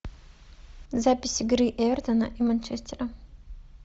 запись игры эвертона и манчестера